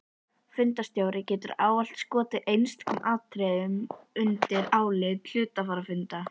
Fundarstjóri getur ávallt skotið einstökum atriðum undir álit hluthafafundar.